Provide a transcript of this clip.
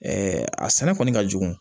a sɛnɛ kɔni ka jugu